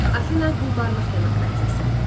Afina quldarlıq demokratiyası.